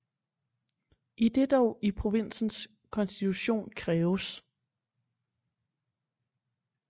Idet det dog i provinsens konstitution kræves